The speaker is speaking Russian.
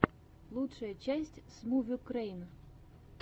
лучшая часть смувюкрэйн